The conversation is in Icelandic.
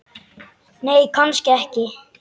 Nei, kannski ekki.